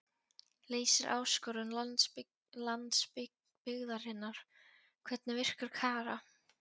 Leysir áskorun landsbyggðarinnar Hvernig virkar Kara?